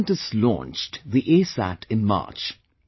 Our scientists launched the ASat in March